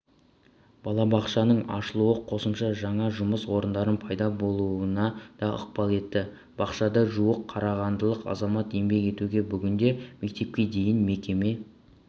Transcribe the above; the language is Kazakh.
балабақшаның ашылуы қосымша жаңа жұмыс орындарының пайда болуына да ықпал етті бақшада жуық қарағандылық азамат еңбек етуде бүгінде мектепке дейінгі мекеме